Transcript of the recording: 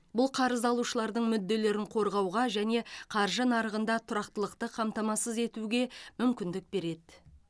бұл қарыз алушылардың мүдделерін қорғауға және қаржы нарығында тұрақтылықты қамтамасыз етуге мүмкіндік береді